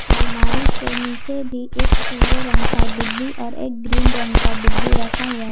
अलमारी के नीचे भी एक पीले रंग का डिब्बी और एक ग्रीन रंग का डिब्बी रखा हुआ है।